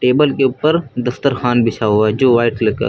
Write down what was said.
table के ऊपर दफ्तर खान बिछा हुआ है जो व्हाइट कलर का--